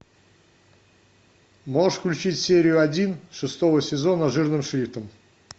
можешь включить серию один шестого сезона жирным шрифтом